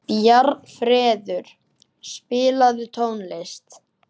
Bjarnfreður, spilaðu tónlist.